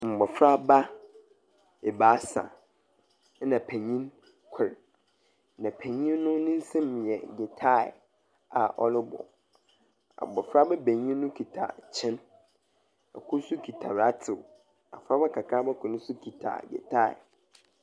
Mbofraba ebaasa na panyin kor. Na panyin ne nsam yɛ gyitaa a ɔrebɔ. Abofraba benyin kita kyen. Kor nso kita ratew. Abofraba kakraba kor nso kita gyitaa.